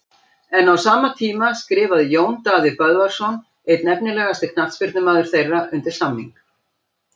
En á sama tíma skrifaði Jón Daði Böðvarsson einn efnilegasti knattspyrnumaður þeirra undir samning.